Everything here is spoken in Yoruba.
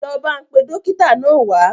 Lọ bá n pe Dókítà náà wa